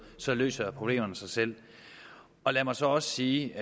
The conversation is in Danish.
så løser problemerne sig selv lad mig så også sige